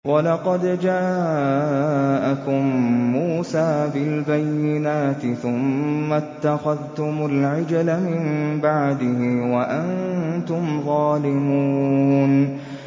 ۞ وَلَقَدْ جَاءَكُم مُّوسَىٰ بِالْبَيِّنَاتِ ثُمَّ اتَّخَذْتُمُ الْعِجْلَ مِن بَعْدِهِ وَأَنتُمْ ظَالِمُونَ